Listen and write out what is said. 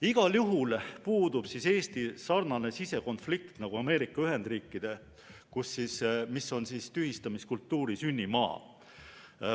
Igal juhul puudub Eestil sarnane sisekonflikt nagu Ameerika Ühendriikidel, mis on tühistamiskultuuri sünnimaa.